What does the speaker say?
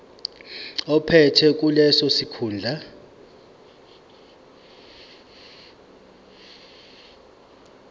ophethe leso sikhundla